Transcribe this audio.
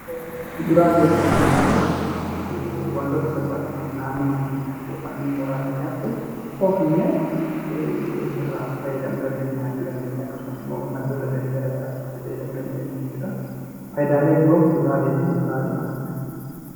Kuduraaleefi muduraaleen; wantoota salphaatti naannoo mana keenyaatti (mooraa)keenyaatti oomishnee irraa faayyadamuu dandeenyaa jechuu dandeenyaa. Akkasumas, immoo maddoota Gali garagaraa itti faayyadamuu dandeenyaa jechuudha. faayidaaleen biroo kufuraaleefi muduraalee maalidha?